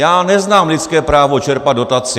Já neznám lidské právo čerpat dotaci.